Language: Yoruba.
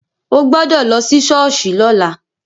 O gbọ́dọ̀ lọ sí ṣọ́ọ̀ṣì lọ́la.